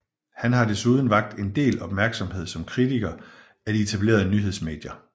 Han har desuden vakt en del opmærksomhed som kritiker af de etablerede nyhedsmedier